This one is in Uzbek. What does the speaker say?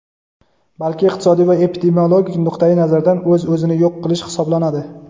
balki iqtisodiy va epidemiologik nuqtai nazardan o‘z-o‘zini yo‘q qilish hisoblanadi.